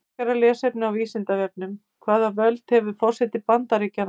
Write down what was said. Frekara lesefni á Vísindavefnum: Hvaða völd hefur forseti Bandaríkjanna?